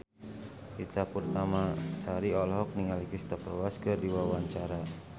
Ita Purnamasari olohok ningali Cristhoper Waltz keur diwawancara